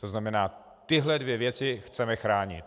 To znamená, tyhle dvě věci chceme chránit.